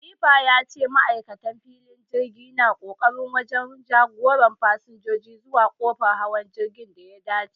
Khalifa ya ce ma'aikatan filin jirgi na ƙoƙari wajen jagoran fasinjoji zuwa kofar hawa jirgin da ya dace